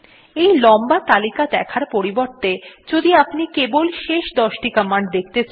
এই লম্বা তালিকা দেখার পরিবর্তে যদি আপনি কেবল শেষ দশটি দেখতে চান